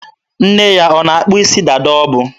Nne ya na-akpụ isi dada o bu.